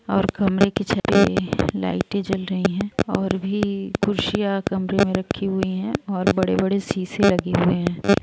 ओर कमरे की छते लाइटे जल रही है और भी कुर्सियां कमरे में रखी हुई है और बड़े बड़े सीसे लगे हुए हैं।